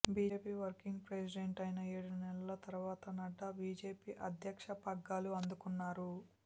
BJP working president అయిన ఏడు నెలల తర్వాత నడ్డా బీజేపీ అధ్యక్ష పగ్గాలు అందుకున్నారు